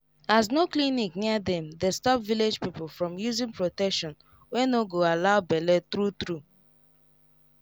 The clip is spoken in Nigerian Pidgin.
as no clinic near dem dey stop village people from using protection wey no go allow bele true true